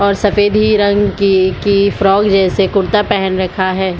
और सफ़ेद ही रंग की की फ्रॉग जैसे कुर्ता पेहैन रखा हैं।